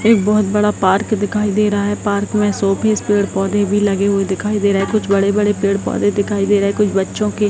एक बहुत बड़ा पार्क दिखाई दे रहा है पार्क में शो पीस पेड़-पौधे भी लगे हुए दिखाई दे रहे है कुछ बड़े-बड़े पेड़-पौधे दिखाई दे रहे है कुछ बच्चो के --